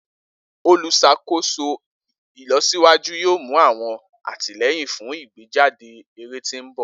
Oluṣakoso ilosiwaju yoo mu awọn atilẹyin fun igbejade ere ti nbọ.